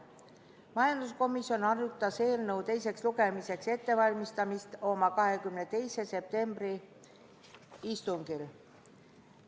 Majanduskomisjon arutas eelnõu teiseks lugemiseks ettevalmistamist oma 22. septembri istungil.